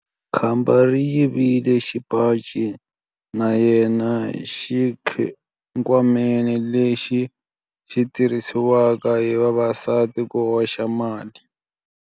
Khamba ri yivile xipaci xa yena exikhwameni lexi xi tirhisiwaka hi vavasati ku hoxela mali.